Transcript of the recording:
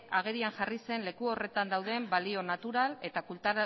agerian jarri zen leku horretan dauden balio natural eta